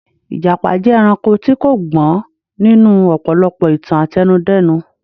Ìjàpá jẹ́ ẹranko tí kò gbọ́n nínú ọ̀pọ̀lọpọ̀ ìtàn àtẹnudẹ́nu.